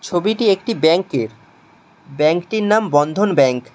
ছবিটি একটি ব্যাংকের ব্যাংকটির নাম বন্ধন ব্যাংক ।